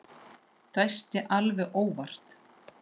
Dæsti alveg óvart.